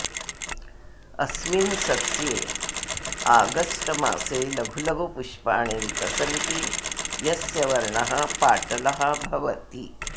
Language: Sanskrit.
अस्मिन् सस्ये आगस्ट् मासे लघुलघु पुष्पाणि विकसन्ति यस्य वर्णः पाटलः भवति